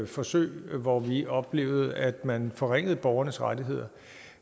forsøg og vi oplevede at man forringede borgernes rettigheder